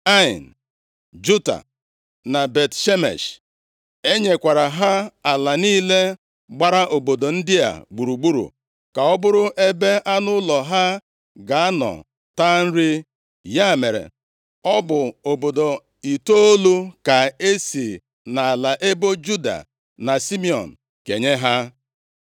Ain, Juta na Bet-Shemesh. E nyekwara ha ala niile gbara obodo ndị a gburugburu ka ọ bụrụ ebe anụ ụlọ ha ga-anọ taa nri. Ya mere, ọ bụ obodo itoolu ka e si nʼala ebo Juda na Simiọn kenye ha.